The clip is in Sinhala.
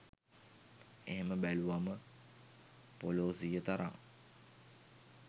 එහෙම බැලුවම පොලෝසිය තරං